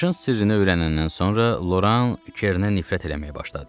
Başın sirrini öyrənəndən sonra Loran Kernə nifrət eləməyə başladı.